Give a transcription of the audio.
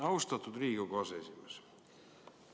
Austatud Riigikogu aseesimees!